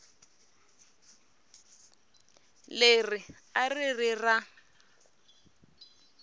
leri a ri ri ra